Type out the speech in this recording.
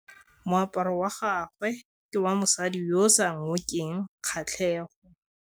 Moaparô wa gagwe ke wa mosadi yo o sa ngôkeng kgatlhegô.